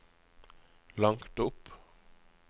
langt opp